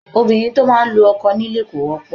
Obìnrin tó máa ń lu ọkọ nílé kò wọ́pọ̀